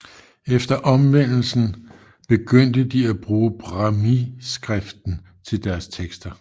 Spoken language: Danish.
Efter omvendelsen begyndte de at bruge brāhmīskriften til deres tekster